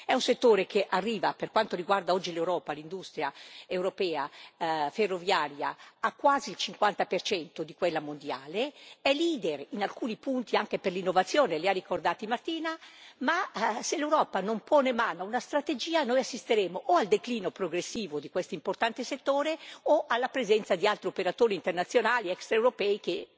È un settore che arriva, per quanto riguarda oggi l'industria ferroviaria europea, a quasi il 50 di quella mondiale, è leader in alcuni punti anche per l'innovazione li ha ricordati Martina ma se l'Europa non pone mano a una strategia, noi assisteremo o al declino progressivo di questo importante settore o alla presenza di altri operatori internazionali extraeuropei che